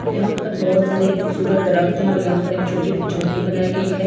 यहां पर बहुत सारे खूबसूरत देरक्‍त है और यहां पर एक-सी झोपड़ी बनाई गई है एक खूबसूरत सा ताज --